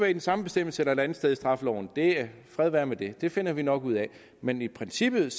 i den samme bestemmelse eller et andet sted i straffeloven fred være med det det finder vi nok ud af men i princippet